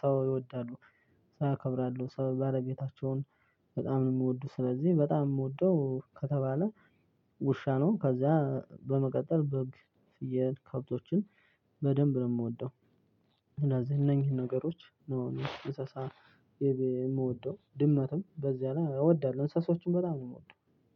ሰው ይወዳሉ። ሰው አከብራለሁ ሰው ባለቤታቸውን በጣም ነው የምወደው ስለዚህ በጣም የምወደው ከተባለ። ውሻ ነው ከዛ በመቀጠል በግ ፍየል ከብቶችን በደንብ ነው የምወደው። ምናልባት እነዚህ እነኚህን ነገሮች ነው እንስሳ የምወደው ድመትም በዚያ ላይ እወዳለሁ እንስሳዎችን በጣም ነው የምወደው።